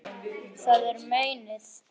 Það er meinið.